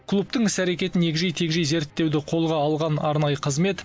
клубтың іс әрекетін егжей тегжей зерттеуді қолға алған арнайы қызмет